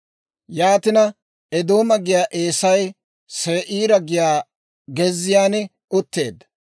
Yaatina Eedooma giyaa Eesay Se'iira giyaa gezziyaan utteedda.